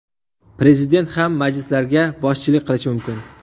Prezident ham majlislarga boshchilik qilishi mumkin.